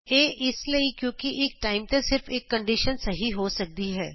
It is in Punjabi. ਇਹ ਇਸ ਲਈ ਕਿਉਂ ਕਿ ਇਕ ਟਾਈਮ ਤੇ ਸਿਰਫ ਇਕ ਕੰਡੀਸ਼ਨ ਸਹੀ ਹੋ ਸਕਦੀ ਹੈ